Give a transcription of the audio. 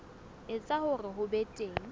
etsa hore ho be teng